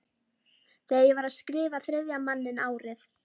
Þegar ég var að skrifa Þriðja manninn árið